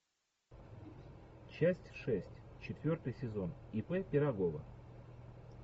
часть шесть четвертый сезон ип пирогова